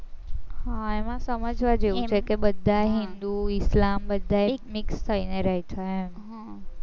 હા એમાં સમજવા જેવું છે કે બધાયે હિન્દુ ઇસ્લામ બધા એક મેક થઈ ને રહે છે એમ હમ